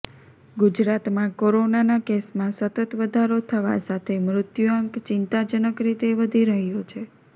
ગુજરાતમાં કોરોનાના કેસમાં સતત વધારો થવા સાથે મૃત્યુઆંક ચિંતાજનક રીતે વધી રહ્યો છે